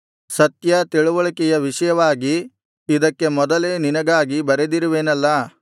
ಸತ್ಯ ತಿಳಿವಳಿಕೆಯ ವಿಷಯವಾಗಿ ಇದಕ್ಕೆ ಮೊದಲೇ ನಿನಗಾಗಿ ಬರೆದಿರುವೆನಲ್ಲಾ